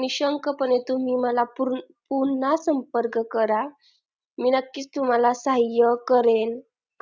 निशंकपणे तुम्ही मला पुन्हा संपर्क करा मी नक्कीच तुम्हाला सहाय्य करेल